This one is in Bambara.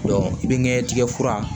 i binɲɛ tigɛ fura